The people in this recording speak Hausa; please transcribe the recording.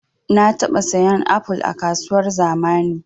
Na taɓa sayan apol a kasuwar zamani